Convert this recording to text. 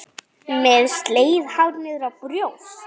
Með slegið hár niðrá brjóst.